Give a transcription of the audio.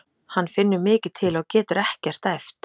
Hann finnur mikið til og getur ekkert æft.